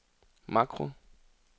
makro